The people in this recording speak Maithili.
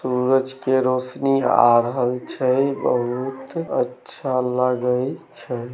सूरज के रोशनी आ रहल छइ बहुत अच्छा लगइ छै।